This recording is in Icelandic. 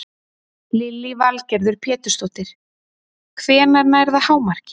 Lillý Valgerður Pétursdóttir: Hvenær nær það hámarki?